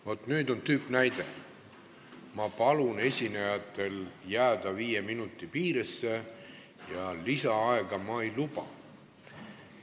Vaat nüüd on tüüpnäide: ma palun esinejatel jääda viie minuti piiresse ja lisaaega ma ei anna.